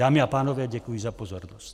Dámy a pánové, děkuji za pozornost.